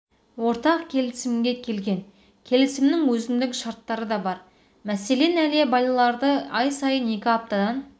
ортақ келісімге келген келісімнің өзіндік шарттары да бар мәселен әлия балаларды ай сайын екі аптадан